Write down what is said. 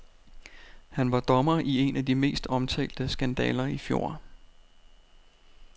Han var dommer i en af de mest omtalte skandaler i fjor.